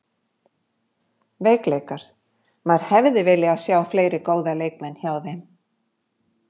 Veikleikar: Maður hefði viljað sjá fleiri góða leikmenn hjá þeim.